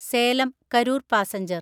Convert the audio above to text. Salem Karur passenger